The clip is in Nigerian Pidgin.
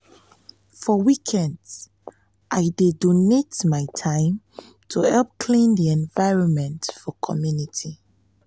for weekends i weekends i dey donate my time to help clean di environment for community.